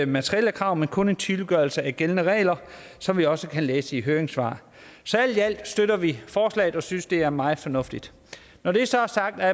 materielle krav men kun om en tydeliggørelse af gældende regler som vi også kan læse i høringssvarene så alt i alt støtter vi forslaget og synes det er meget fornuftigt når det så er sagt er